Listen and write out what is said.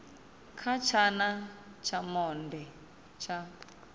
kha tshana tsha monde tsha